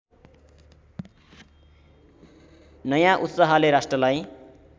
नयाँ उत्साहले राष्ट्रलाई